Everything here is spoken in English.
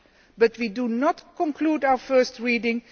But we are not concluding our first reading